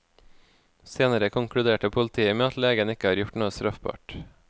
Senere konkluderte politiet med at legen ikke har gjort noe straffbart.